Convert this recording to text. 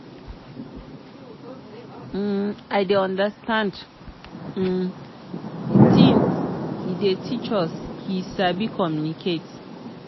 um i dey understand um the things he dey teach us he sabi communicate.